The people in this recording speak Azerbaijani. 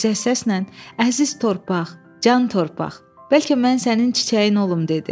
Yüksək səslə: "Əziz torpaq, can torpaq, bəlkə mən sənin çiçəyin olum?"